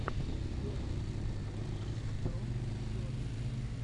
первый эпизод про сервис